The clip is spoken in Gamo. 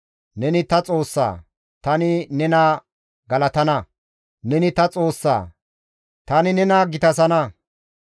Neni ta Xoossa; tani nena galatana; Neni ta Xoossa; tani nena gitasana.